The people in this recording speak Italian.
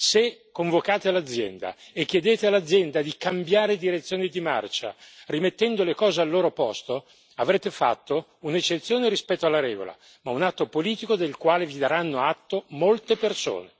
Se convocate l'azienda e chiedete all'azienda di cambiare direzione di marcia, rimettendo le cose al loro posto, avrete fatto un'eccezione rispetto alla regola, ma un atto politico del quale vi daranno atto molte persone.